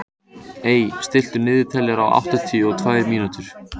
Ey, stilltu niðurteljara á áttatíu og tvær mínútur.